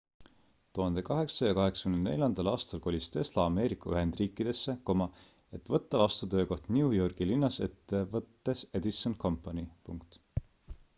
1884 aastal kolis tesla ameerika ühendriikidesse et võtta vastu töökoht new yorgi linnas ettevõttes edison company